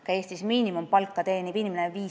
Ka Eestis miinimumpalka teeniva inimese puhul on nii.